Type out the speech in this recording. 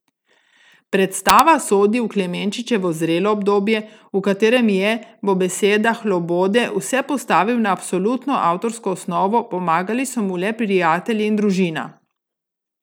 Prestava sodi v Klemenčičevo zrelo obdobje, v katerem je, bo besedah Lobode, vse postavil na absolutno avtorsko osnovo, pomagali so mu le prijatelji in družina.